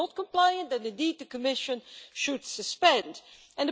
If they are not compliant then, indeed, the Commission should suspend the Privacy Shield.